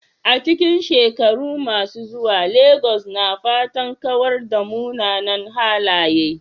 A cikin shekaru masu zuwa, Legas na fatan kawar da munanan halaye.